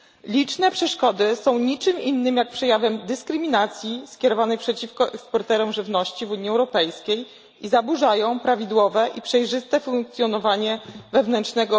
Liczne przeszkody są niczym innym jak przejawem dyskryminacji skierowanej przeciwko eksporterom żywności w Unii Europejskiej i zaburzają prawidłowe i przejrzyste funkcjonowanie unijnego rynku wewnętrznego.